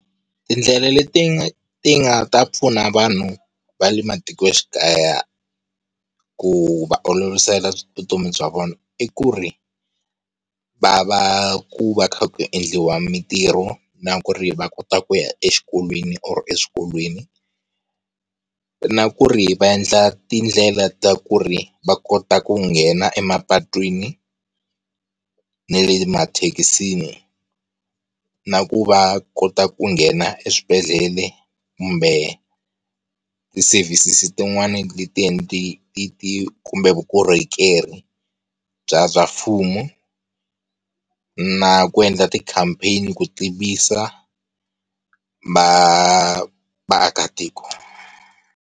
Tindlela leti ti nga ta pfuna vanhu va le matikoxikaya ku va olovisela vutomi bya vona, i ku ri va va ku va kha ku endliwa mitirho na ku ri va kota ku ya exikolweni or eswikolweni, na ku ri va endla tindlela ta ku ri va kota ku nghena emapatwini na le mathekisi na ku va kota ku nghena eswibedhlele kumbe ti-services-i tin'wani leti ti kumbe vukorhokeri bya bya mfumo na ku endla ti-campaign-i na ku tivisa va vaakatiko.